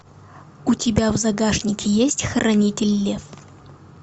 у тебя в загашнике есть хранитель лев